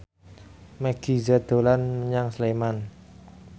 Meggie Z dolan menyang Sleman